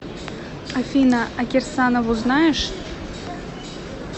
афина а кирсанову знаешь